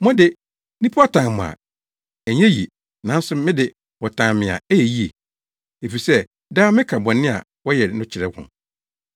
Mo de, nnipa tan mo a ɛnyɛ ye, nanso me de wɔtan me a ɛyɛ ye, efisɛ daa meka bɔne a wɔyɛ no kyerɛ wɔn.